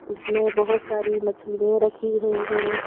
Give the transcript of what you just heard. उसमें बहुत सारी मछलियां रखी हुई हैं।